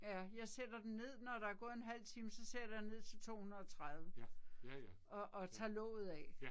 Ja jeg sætter den ned når der er gået en halv time så sætter jeg ned til 230. Og og tager låget af